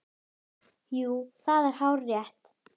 Jú, það er hárrétt